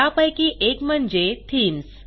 त्यापैकी एक म्हणजे थीम्स